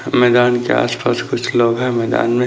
मैदान के आस पास कुछ लोग है मैदान मे--